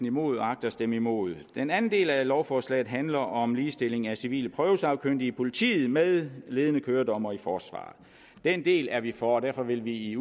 imod og agter at stemme imod den anden del af lovforslaget handler om ligestilling af civile prøvesagkyndige i politiet med ledende køredommere i forsvaret den del er vi for og derfor vil vi i